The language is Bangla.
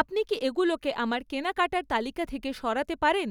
আপনি কি এগুলোকে আমার কেনাকাটার তালিকা থেকে সরাতে পারেন?